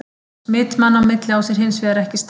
Smit manna á milli á sér hins vegar ekki stað.